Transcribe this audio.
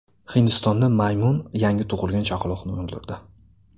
Hindistonda maymun yangi tug‘ilgan chaqaloqni o‘ldirdi.